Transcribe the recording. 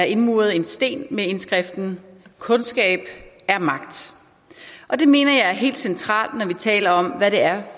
indmuret en sten med indskriften kundskab er magt og det mener jeg er helt centralt når vi taler om hvad det er